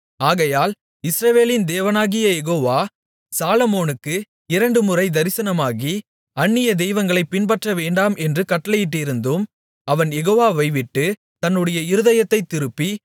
ஆகையால் இஸ்ரவேலின் தேவனாகிய யெகோவா சாலொமோனுக்கு இரண்டு முறை தரிசனமாகி அந்நிய தெய்வங்களைப் பின்பற்றவேண்டாம் என்று கட்டளையிட்டிருந்தும் அவன் யெகோவாவை விட்டுத் தன்னுடைய இருதயத்தைத் திருப்பி